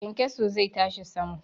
Kyankyaso zai tashi sama.